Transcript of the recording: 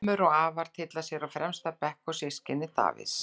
Ömmur og afar tylla sér á fremsta bekk og systkini Davíðs.